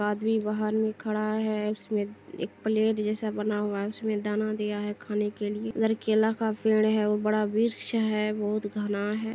आदमी बाहर में खड़ा है उसमे एक प्लेट जैसा बना हुआ है उसमे दाना दिया है खाने के लिए इधर केला का पेड़ है और बड़ा वृक्ष है बहुत घना है।